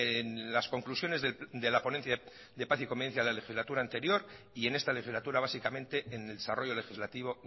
en las conclusiones de la ponencia de paz y convivencia de la legislatura anterior y en esta legislatura básicamente en el desarrollo legislativo